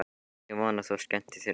Ég vona að þú skemmtir þér vel!